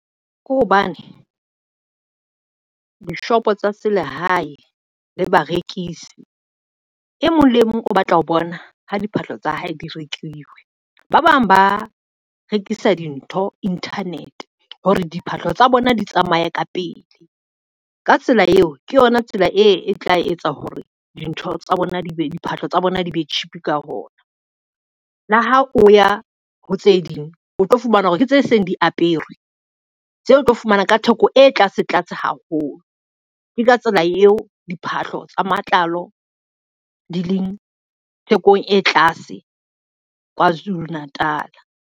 Ke hobane, dishopo tsa se le hae le barekisi e mong le mong o batla ho bona ho diphahlo tsa hae di rekiwe. Ba bang ba rekisa dintho internet hore diphahlo tsa bona di tsamaye ka pele ka tsela eo, ke yona tsela e tla etsa hore diphahlo tsa bona di be cheap ka ona. Le ha o ya ho tse ding o tlo fumana hore ke tse seng di aperwe tseo o tlo fumana ka theko e tlase tlase haholo. Ke ka tsela eo diphahlo tsa matlalo di leng thekong e tlase Kwazulu Natal.